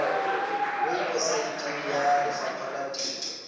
weposaeteng ya lefapha la temo